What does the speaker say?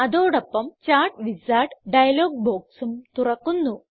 അതോടൊപ്പം chart wizard dialog ബോക്സും തുറക്കുന്നു